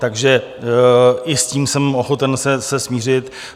Takže i s tím jsem ochoten se smířit.